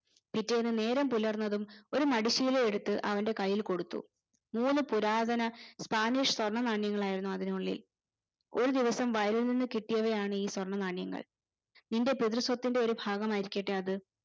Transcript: പിറ്റേന്ന് നേരം പുലർന്നതും ഒരു മടിശീല എടുത്ത് അവന്റെ കൈയിൽ കൊടുത്തു മൂന്ന് പുരാതന spanish സ്വർണ നാണ്യങ്ങളായിരുന്നു അതിനുള്ളിൽ. ഒരുദിവസം വയലിൽ നിന്ന് കിട്ടിയവയാണ് ഈ സ്വർണനാണ്യങ്ങൾ നിന്റെ പിതൃസ്വത്തിന്റെ ഒരു ഭാഗമായിരിക്കട്ടെ അത്